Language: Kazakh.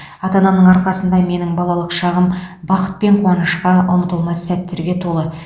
ата анамның арқасында менің балалық шағым бақыт пен қуанышқа ұмытылмас сәттерге толы